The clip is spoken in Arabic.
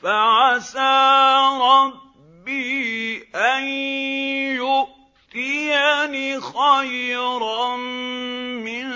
فَعَسَىٰ رَبِّي أَن يُؤْتِيَنِ خَيْرًا مِّن